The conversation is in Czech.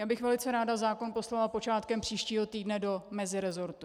Já bych velice ráda zákon poslala počátkem příštího týdne do mezirezortu.